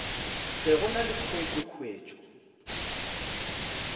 se go na le khuetšokhuetšo